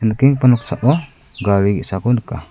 nikengipa noksao gari ge·sako nika.